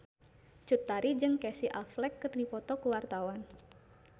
Cut Tari jeung Casey Affleck keur dipoto ku wartawan